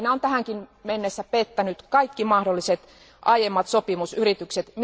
Rajoelina on tähänkin mennessä pettänyt kaikki mahdolliset aiemmat sopimusyritykset.